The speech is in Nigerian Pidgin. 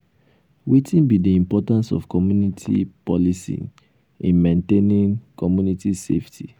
wetin be di importance of community policing in maintaining community safety?